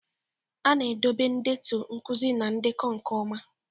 A na-edobe ndetu nkuzi na ndekọ nke ọma.